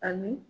Ani